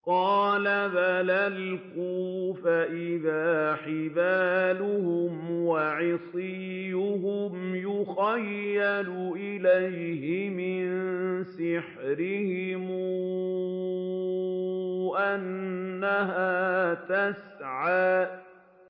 قَالَ بَلْ أَلْقُوا ۖ فَإِذَا حِبَالُهُمْ وَعِصِيُّهُمْ يُخَيَّلُ إِلَيْهِ مِن سِحْرِهِمْ أَنَّهَا تَسْعَىٰ